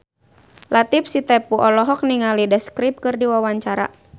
Latief Sitepu olohok ningali The Script keur diwawancara